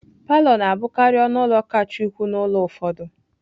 Palọ na-abụkarị ọnụ ụlọ kacha ukwuu n'ụlọ ụfọdụ